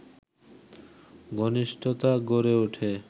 ঘনিষ্ঠতা গড়ে ওঠে